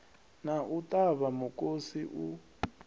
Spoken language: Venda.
na u ṱavha mukosi u